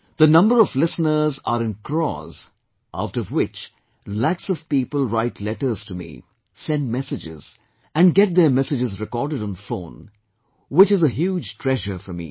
The number of listeners are in crores out of which lakhs of people write letters to me, send messages, and get their messages recorded on phone, which is a huge treasure for me